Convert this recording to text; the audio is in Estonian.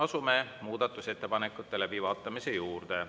Asume muudatusettepanekute läbivaatamise juurde.